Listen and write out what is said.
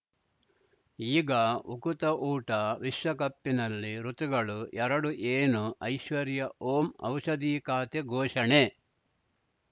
ಈಗ ಉಕುತ ಊಟ ವಿಶ್ವಕಪ್ಪಿನಲ್ಲಿ ಋತುಗಳು ಎರಡು ಏನು ಐಶ್ವರ್ಯಾ ಓಂ ಔಷಧಿ ಖಾತೆ ಘೋಷಣೆ